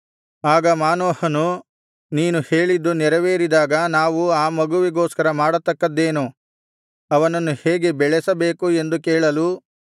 ಆಗ ಮಾನೋಹನು ನೀನು ಹೇಳಿದ್ದು ನೆರವೇರಿದಾಗ ನಾವು ಆ ಮಗುವಿಗೋಸ್ಕರ ಮಾಡತಕ್ಕದ್ದೇನು ಅವನನ್ನು ಹೇಗೆ ಬೆಳೆಸಬೇಕು ಎಂದು ಕೇಳಲು